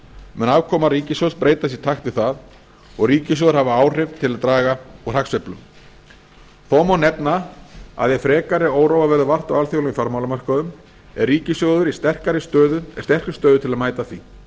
mun afkoma ríkissjóðs breytast í takt við það og ríkissjóður hafa áhrif til að draga úr hagsveiflum þá má nefna að ef frekari óróa verður vart á alþjóðlegum fjármálamörkuðum er ríkissjóður í sterkri stöðu til að mæta því við